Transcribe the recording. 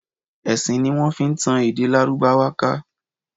Ẹ̀sìn ní wọ́n fi tan èdè Lárúbáwá ká.